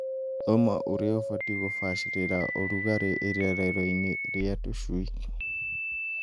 Thoma ũrĩa ũbatiĩ kũbacagĩrĩra ũrugarĩ irerero-inĩ rĩa tũcui.